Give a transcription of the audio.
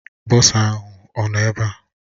Bọsa ahụ ọ nọ ebe a?